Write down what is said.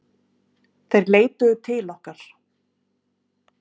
Þeir leituðu til okkar